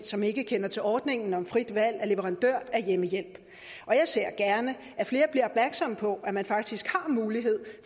som ikke kender til ordningen om frit valg af leverandør af hjemmehjælp og jeg ser gerne at flere bliver opmærksomme på at man faktisk har mulighed